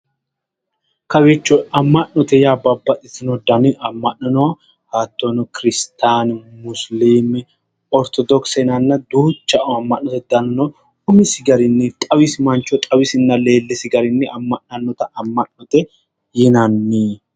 amma'note yaa babbaxitewnno dani amma'no no hattono kiristiyanu musiliime ortodokisete yinanna duuucha amma'noti dani no umisi garinninna leellisi garinni amma'nannota amma'note yinanni